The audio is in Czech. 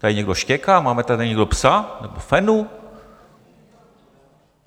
Tady někdo štěká, máme tady někdo psa, nebo fenu?